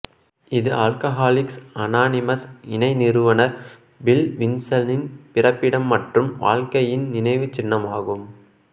இது alcoholics anonymous இணை நிறுவனர் பில் வில்சனின் பிறப்பிடம் மற்றும் வாழ்க்கையின் நினைவுச்சின்னமாகும்